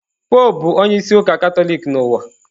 Popụ bụ onye isi ụka Katọlik n'ụwa.